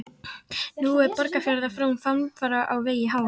Nú er Borgarfjarðar frón framfara á vegi háum.